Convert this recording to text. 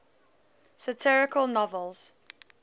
satirical novels